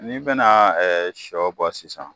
N'i bɛna sɔ bɔ sisan